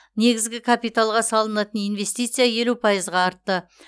негізгі капиталға салынатын инвестиция елу пайызға артты